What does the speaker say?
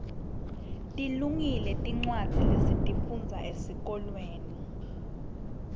tilungile tincwadza lesitifundza esikolweni